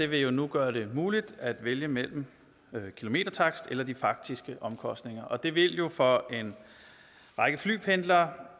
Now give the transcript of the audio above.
vil nu gøre det muligt at vælge mellem en kilometertakst eller de faktiske omkostninger og det vil jo for en række flypendlere